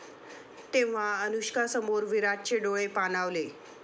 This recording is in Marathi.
...तेव्हा अनुष्कासमोर विराटचे डोळे पाणावले